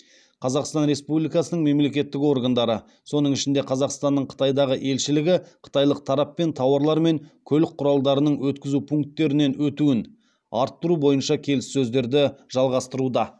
қазақстан республикасының мемлекеттік органдары соның ішінде қазақстанның қытайдағы елшілігі қытайлық тараппен тауарлар мен көлік құралдарының өткізу пункттерінен өтуін арттыру бойынша келіссөздерді жалғастыруда